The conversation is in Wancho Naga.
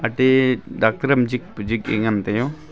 ate dactar am jikpa jik a ngan teo.